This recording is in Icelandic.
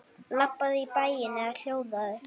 Labbaðu í bæinn eða hjólaðu.